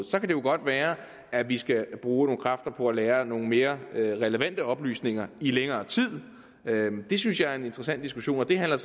så kan det godt være at vi skal bruge nogle kræfter på at lagre nogle mere relevante oplysninger i længere tid det synes jeg er en interessant diskussion og det handler